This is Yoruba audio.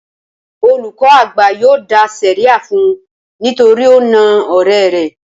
Olùkọ́ àgbà yóò dá sẹ̀ríà fun nítorí ó na ọ̀rẹ́ rẹ̀